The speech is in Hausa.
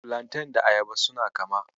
Filanten da Ayaba suna kama.